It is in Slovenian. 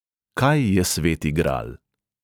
Kaj je sveti gral?